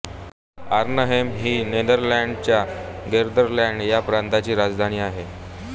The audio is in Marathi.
आर्नहेम ही नेदरलँड्सच्या गेल्डरलांड ह्या प्रांताची राजधानी आहे